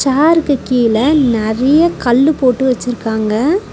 சேர்க்கு கீழ நெறைய கல்லு போட்டு வச்சிருக்காங்க.